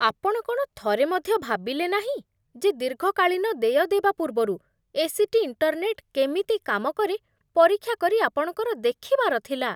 ଆପଣ କ'ଣ ଥରେ ମଧ୍ୟ ଭାବିଲେନାହିଁ, ଯେ ଦୀର୍ଘକାଳୀନ ଦେୟ ଦେବା ପୂର୍ବରୁ ଏ.ସି.ଟି. ଇଣ୍ଟରନେଟ୍ କେମିତି କାମ କରେ ପରୀକ୍ଷା କରି ଆପଣଙ୍କର ଦେଖିବାର ଥିଲା?